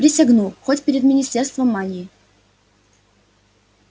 присягну хоть перед министерством магии